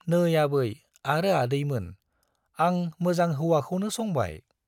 नै आबै आरो आदैमोन, आं मोजां हौवाखौनो संबाय।